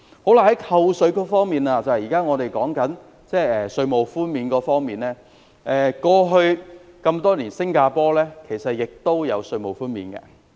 在扣稅方面，即我們正在討論的稅務寬免，新加坡在過去多年亦有稅務寬免。